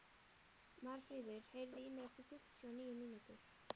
Marfríður, heyrðu í mér eftir fimmtíu og níu mínútur.